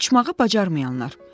Uçmağı bacarmayanlar.